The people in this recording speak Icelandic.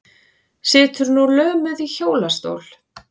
Situr nú lömuð í hjólastól.